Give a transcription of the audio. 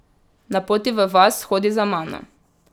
Na poti v vas hodi za mano.